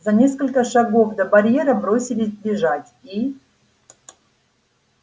за несколько шагов до барьера бросились бежать и